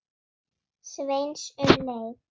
Sveins um leið.